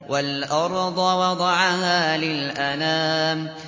وَالْأَرْضَ وَضَعَهَا لِلْأَنَامِ